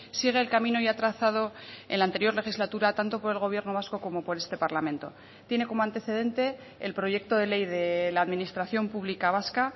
sigue el camino ya trazado en la anterior legislatura tanto por el gobierno vasco como por este parlamento tiene como antecedente el proyecto de ley de la administración pública vasca